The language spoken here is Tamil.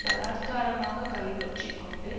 பலாத்காரமாக கைப்பற்றிக்கொண்டு